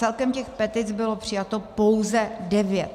Celkem těch petic bylo přijato pouze devět.